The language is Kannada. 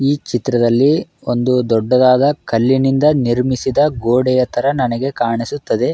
ಈ ಚಿತ್ರದಲ್ಲಿ ಒಂದು ದೊಡ್ಡದಾದ ಕಲ್ಲಿನಿಂದ ನಿರ್ಮಿಸಿದ ಗೋಡೆಯ ತರ ನನಗೇ ಕಾಣಿಸುತ್ತದೆ.